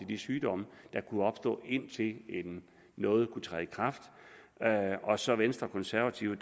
de sygdomme der kunne opstå indtil noget kunne træde i kraft og så venstre og konservative